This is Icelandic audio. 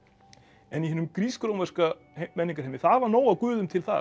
en í hinum grísk rómverska menningarheimi það var nóg af guðum til þar